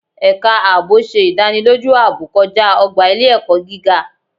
Ẹ̀ka ààbò ṣe ìdánilójú ààbò kọjá ọgbà ile-ẹkọ gíga